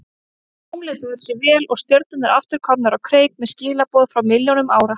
Tunglið bar sig vel og stjörnurnar aftur komnar á kreik með skilaboð frá milljónum ára.